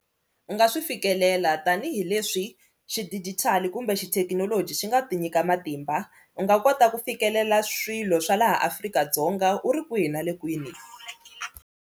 U nga swi fikelela tanihileswi xidigitali kumbe xithekinoloji xi nga ti nyika matimba u nga kota ku fikelela swilo swa laha Afrika-Dzonga u ri kwihi na le kwini.